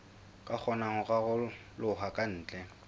ka kgonang ho raroloha kantle